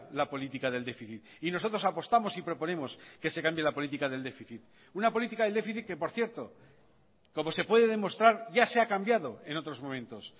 la política del déficit y nosotros apostamos y proponemos que se cambie la política del déficit una política del déficit que por cierto como se puede demostrar ya se ha cambiado en otros momentos